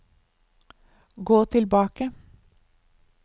gå tilbake